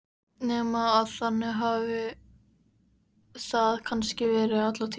Nema að þannig hafi það kannski verið alla tíð.